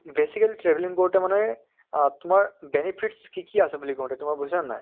basically travelling কৰোতে মানে আহ তোমাৰ benefits কি কি আছে বুলি কওঁতে তোমাৰ বুইছা নে নাই